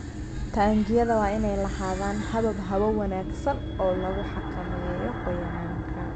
Taangiyada waa inay lahaadaan habab hawo wanaagsan oo lagu xakameeyo qoyaanka.